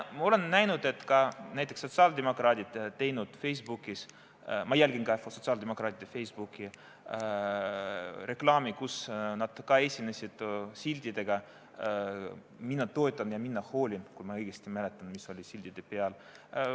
Ma olen näinud, et ka näiteks sotsiaaldemokraadid on teinud reklaami Facebookis – ma jälgin ka sotsiaaldemokraatide Facebooki reklaami –, nad esinesid siltidega "Mina toetan" ja "Mina hoolin", kui ma õigesti mäletan seda, mis oli siltide peal.